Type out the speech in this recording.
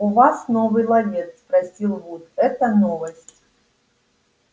у вас новый ловец спросил вуд это новость